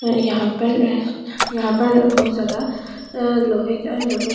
यहां पर यहां पर बहुत ज्यादा लोहे का लोहे--